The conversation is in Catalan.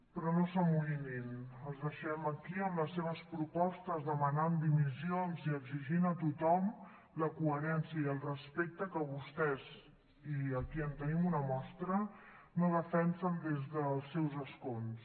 però no s’amoïnin els deixem aquí amb les seves propostes demanant dimissions i exigint a tothom la coherència i el respecte que vostès i aquí en tenim una mostra no defensen des dels seus escons